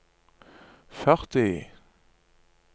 førti